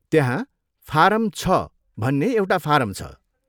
त्यहाँ फारम छ भन्ने एउटा फारम छ।